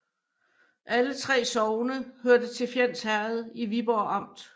Alle 3 sogne hørte til Fjends Herred i Viborg Amt